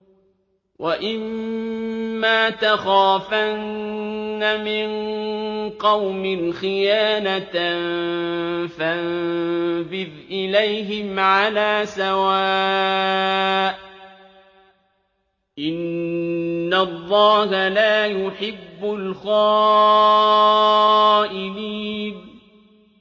وَإِمَّا تَخَافَنَّ مِن قَوْمٍ خِيَانَةً فَانبِذْ إِلَيْهِمْ عَلَىٰ سَوَاءٍ ۚ إِنَّ اللَّهَ لَا يُحِبُّ الْخَائِنِينَ